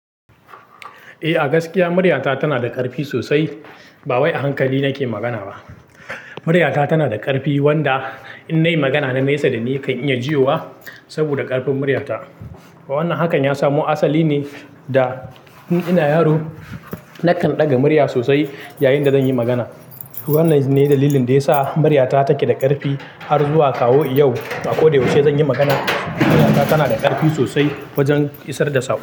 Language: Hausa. Eh, a gaskiya maryata tana da ƙarfi sosai. Ba wai a hankali nake magana ba. Maryata tana da ƙarfi, wanda in nayi magana na nesa da ni kan iya jiya saboda ƙarfin maryata. Wannan hakan ya samo asali ne da in ina yaro, na kan ɗaga murya sosai yayin da zan yi magana. Wannan ne dalilin da ya sa maryata take da ƙarfi har zuwa kawo yau. A ko da yaushe zan yi magana, maryata tana da ƙarfi sosai wajen isar da sa.